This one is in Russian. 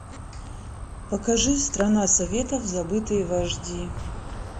покажи страна советов забытые вожди